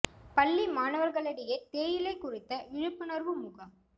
பள்ளி மாணவா்களிடையே தேயிலை குறித்த விழிப்புணா்வு முகாம்